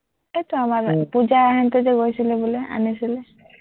এৰ তো পুজাহঁতে যে গৈছিলে বোলে, আনিছিলে